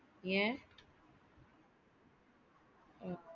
ஏன் .